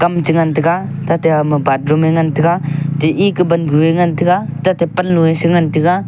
kam chengan tega tate agama bathroom e ngan tega te eke vangu e ngan tega tate pannu e chengan tega.